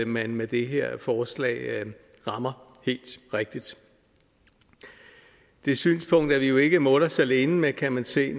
man med det her forslag rammer helt rigtigt det synspunkt er vi jo ikke mutters alene med kan man se